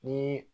Ni